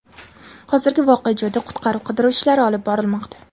Hozirda voqea joyida qutqaruv-qidiruv ishlari olib borilmoqda.